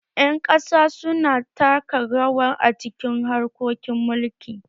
Ƴan ƙasa su na taka rawa a cikin harkokin mulki